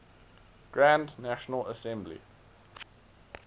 grand national assembly